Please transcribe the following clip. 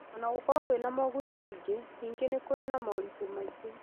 O na gũkorũo wĩna moguni maingĩ, ningĩ nĩ kũrĩ na moritũ maingĩ